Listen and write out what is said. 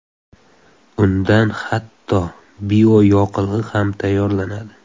Undan hatto bioyoqilg‘i ham tayyorlanadi.